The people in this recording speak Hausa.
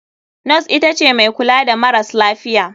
Nos itace mai kula da maras lafiya.